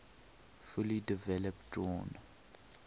fully developed drawn